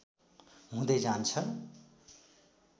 हुँदै जान्छ